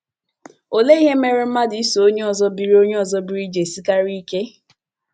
Olee ihe mere mmadụ iso onye ọzọ biri onye ọzọ biri ji esikarị ike?